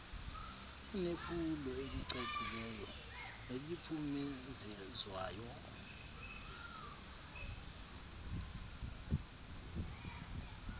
kunephulo elicacileyo neliphumenzezwayo